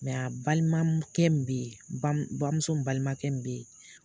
a balimakɛ min bɛ ye bamu bamuso balimakɛ min bɛ ye